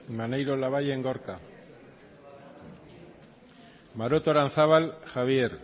maneiro labayen gorka maroto aranzábal javier